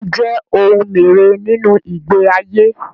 Orín jẹ́ ohun mère nínú ìgbé ayé.